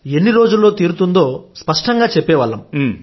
ఎన్ని రోజుల్లో తీరుతుందో స్పష్టంగా చెప్పేవాళ్లం